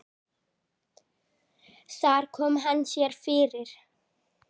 Þar kom hann sér fyrir.